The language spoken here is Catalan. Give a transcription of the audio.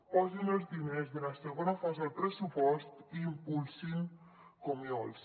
posin els diners de la segona fase al pressupost i impulsin comiols